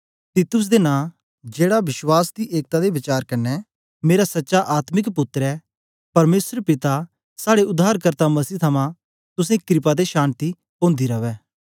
तीतुस दे नां जेड़ा विश्वास दी एकता दे वचार कन्ने मेरा सच्चा आत्मिक पुत्तर ऐ परमेसर पिता ते साड़े उद्धारकर्ता मसीह थमां तुसें क्रपा ते शान्ति ओंदी रवै